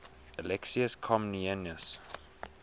alexius comnenus